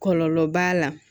Kɔlɔlɔ b'a la